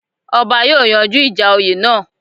Ọba yóòyanjú ìjà oyè náà